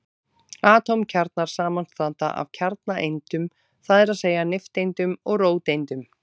Atómkjarnar samanstanda af kjarnaeindum, það er að segja nifteindum og róteindum.